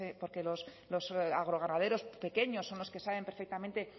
los agroganaderos pequeños son los que saben perfectamente